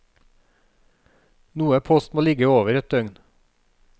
Noe post må ligge over et døgn.